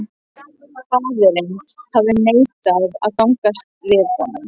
Faðirinn hafði neitað að gangast við honum.